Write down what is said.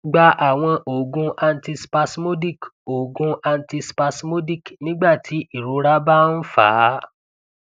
gba àwọn oogun antispasmodic oogun antispasmodic nígbàtí irora bá ń fa á